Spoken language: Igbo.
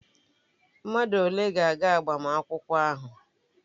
Mmadụ ole ga-aga agbamakwụkwọ ahụ?